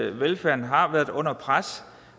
at velfærden har været under pres